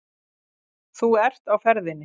Þú ert á ferðinni.